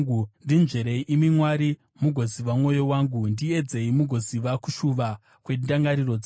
Ndinzverei, imi Mwari, mugoziva mwoyo wangu; ndiedzei mugoziva kushuva kwendangariro dzangu.